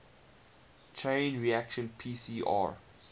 chain reaction pcr